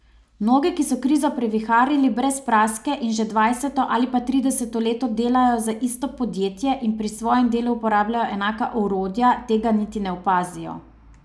Mnogi, ki so krizo previharili brez praske in že dvajseto ali pa trideseto leto delajo za isto podjetje in pri svojem delu uporabljajo enaka orodja, tega niti ne opazijo.